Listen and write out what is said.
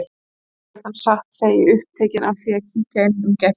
Ótrúlegt en satt, segi ég, upptekin af því að kíkja inn um gættina.